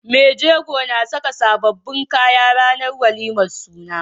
Mai jego na Saka sababbin kaya ranar walimar suna